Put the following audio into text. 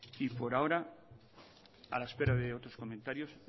y por ahora a la espera de otros comentarios